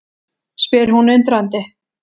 spyr hún undrandi.